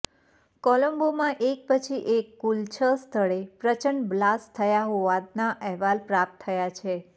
કોલંબોમાં એક પછી એક કુલ છ સ્થળે પ્રચંડ બ્લાસ્ટ થયા હોવાના અહેવાલ પ્રાપ્ત થયા છે